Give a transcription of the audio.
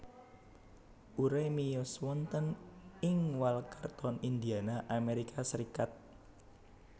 Urey miyos wonten ing Walkerton Indiana Amerika Serikat